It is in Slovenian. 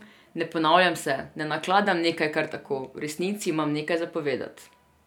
Ne ponavljam se, ne nakladam nekaj kar tako, v resnici imam nekaj za povedat.